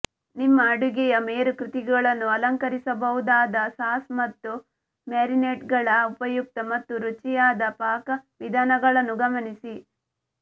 ನಿಮ್ಮ ಅಡುಗೆಯ ಮೇರುಕೃತಿಗಳನ್ನು ಅಲಂಕರಿಸಬಹುದಾದ ಸಾಸ್ ಮತ್ತು ಮ್ಯಾರಿನೇಡ್ಗಳ ಉಪಯುಕ್ತ ಮತ್ತು ರುಚಿಯಾದ ಪಾಕವಿಧಾನಗಳನ್ನು ಗಮನಿಸಿ